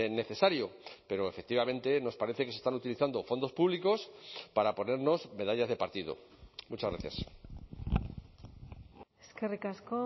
necesario pero efectivamente nos parece que se están utilizando fondos públicos para ponernos medallas de partido muchas gracias eskerrik asko